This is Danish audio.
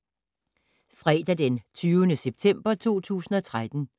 Fredag d. 20. september 2013